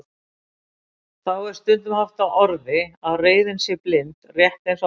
Þá er stundum haft á orði að reiðin sé blind, rétt eins og ástin.